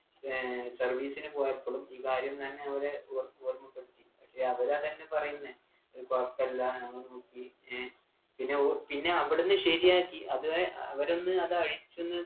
ഏർ service നു പോയപ്പോളും ഈ കാര്യം തന്നെ അവര് ഓർ ഓർമപ്പെടുത്തി പക്ഷെ അവരതന്നെ പറയുന്നേ ഇത് കൊഴപ്പല്ല ഞങ്ങള് നോക്കി ഏർ പിന്നെ ഓ പിന്നെ അവിടെന്ന് ശരിയാക്കി അതെ അവരൊന്ന് അതഴിച്ചൊന്ന്